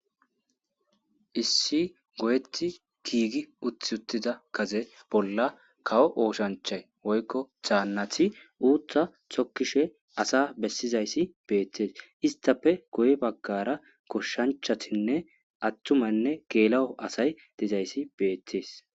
issi goyeti giigi uti uttida gade bolla kawo ooshanchay woykko taannathi uuttha sokkishe asa bessizayssi beettees istape goy baggara koshshanchatinne attumanne geela7o asay dizayssi beettees